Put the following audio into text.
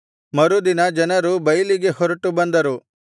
ಮರುದಿನ ಜನರು ಬೈಲಿಗೆ ಹೊರಟು ಬಂದರು